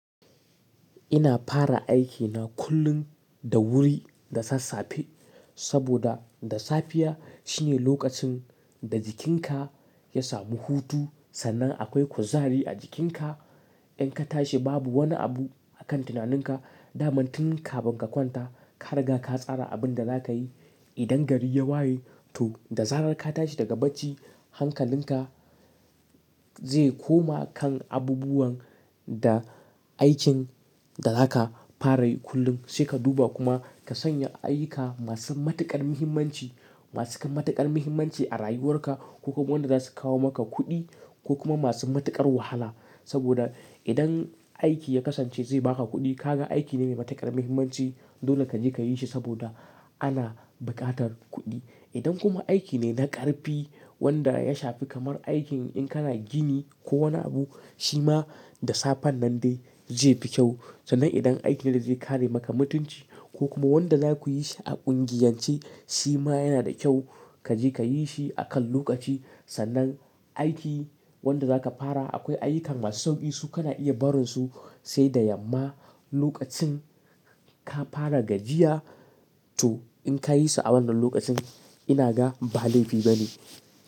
Ina fara aikina kullum da wuri da sassafe, saboda da safiya shine lokacin da jikinka ya samu hutu sannan akwai kuzari a jikinka. In ka tashi babu wani abu akan tunaninka, dama tun kafin ka kwanta, ka riga ka tsara abin da za ka yi. Idan gari ya waye, to da zarar ka tashi daga bacci, hankalinka zai koma kan abubuwan da aikin da za ka fara yi kullum. Sai ka duba kuma ka sanya ayyuka masu matuƙar muhimmanci, masu kan matuƙar muhimmanci a rayuwarka ko kuma wanda za su kawo maka kuɗi ko kuma masu matuƙar wahala. Saboda, idan aiki ya kasance zai ba ka kuɗi, ka ga aiki ne mai matuƙar muhimmanci, dole ka je ka yi shi saboda ana buƙatar kuɗi. Idan kuma aiki ne na ƙarfi, wanda ya shafi kamar aikin in kana gini ko wani abu, shi ma da safen nan dai zai fi kyau. Sannan idan aiki ne da zai kare maka mutunci ko kuma wanda za ku yi shi a ƙungiyance, shi ma yana da kyau ka je ka yi shi akan lokaci. Sannan aiki wanda za ka fara akwai ayyuka masu sauƙi su kana iya barin su sai da yamma, lokacin ka fara gajiya to in ka yi su a wannan lokacin ina ga ba laifi bane.